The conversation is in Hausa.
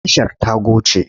Tashar ta goce.